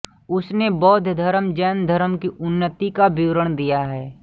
उसने बौद्धधर्म जैनधर्म की उन्नति का विवरण दिया है